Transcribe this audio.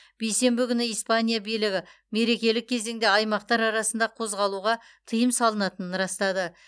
бейсенбі күні испания билігі мерекелік кезеңде аймақтар арасында қозғалуға тыйым салынатынын растады